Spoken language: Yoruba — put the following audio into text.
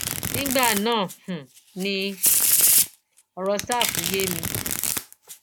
nígbà náà um ni ọrọ ṣáfù yé mi